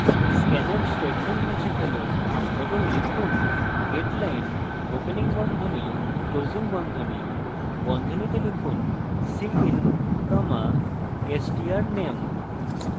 scanf statement মুছে ফেলুন এবং লিখুন getline opening বন্ধনী closing বন্ধনী বন্ধনীতে লিখুন cin strname